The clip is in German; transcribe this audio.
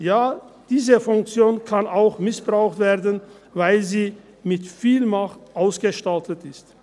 ja, diese Funktion kann auch missbraucht werden, weil sie mit viel Macht ausgestattet ist.